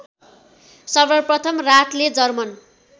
सर्वप्रथम राथले जर्मन